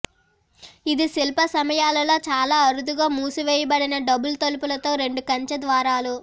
ఇది శిల్ప సమయాలలో చాలా అరుదుగా మూసివేయబడిన డబుల్ తలుపులతో రెండు కంచె ద్వారాలు